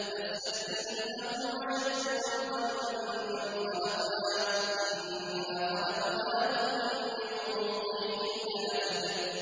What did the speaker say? فَاسْتَفْتِهِمْ أَهُمْ أَشَدُّ خَلْقًا أَم مَّنْ خَلَقْنَا ۚ إِنَّا خَلَقْنَاهُم مِّن طِينٍ لَّازِبٍ